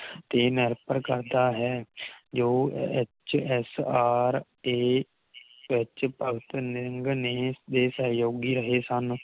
ਤੇ ਨਿਰਭਰ ਕਰਦਾ ਹੈ ਜੋ ਐਚ ਐਸ ਆਰ ਦੇ ਵਿਚ ਭਗਤ ਸਿੰਘ ਨੇ ਇਸ ਦੇ ਸਹਿਊਗੀ ਰਹੇ ਸਨ